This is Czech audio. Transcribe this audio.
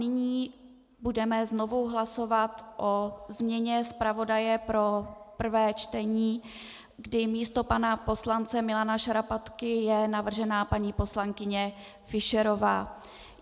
Nyní budeme znovu hlasovat o změně zpravodaje pro prvé čtení, kdy místo pana poslance Milana Šarapatky je navržena paní poslankyně Fischerová.